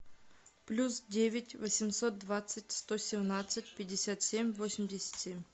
плюс девять восемьсот двадцать сто семнадцать пятьдесят семь восемьдесят семь